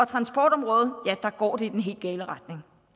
transportområdet går det i den helt gale retning